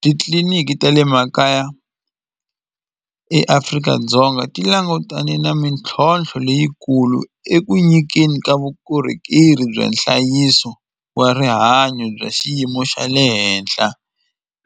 Titliliniki ta le makaya eAfrika-Dzonga ti langutane na mintlhontlho leyikulu eku nyikeni ka vukorhokeri bya nhlayiso wa rihanyo bya xiyimo xa le henhla